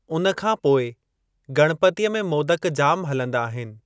उन खां पोइ गणपतीअ में मोदक जाम हलंदा आहिनि।